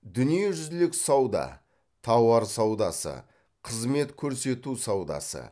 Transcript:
дүниежүзілік сауда тауар саудасы қызмет көрсету саудасы